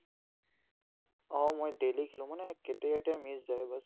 অ, মই daily খেলো মানে কেতিয়াবা কেতিয়াবা miss যায় baas